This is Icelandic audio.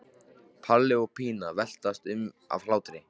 Palli og Pína veltast um af hlátri.